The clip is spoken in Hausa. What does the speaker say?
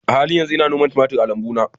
A halin yanzu ina noman tumatir a lambuna